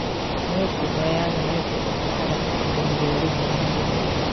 Mĩũngũrwa ya mĩembe ĩbataraga kũrĩmĩrwo rĩmwe na rĩmwe